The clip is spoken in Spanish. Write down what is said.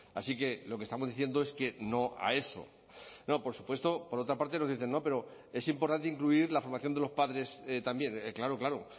así que lo que estamos diciendo es que no a eso no por supuesto por otra parte nos dicen no pero es importante incluir la formación de los padres también claro claro